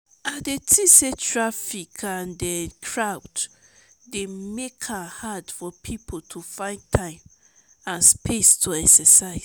i dey think say traffic and crowd dey make am hard for people to find time and space to exercise.